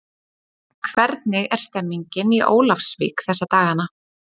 Hvernig er stemningin í Ólafsvík þessa dagana?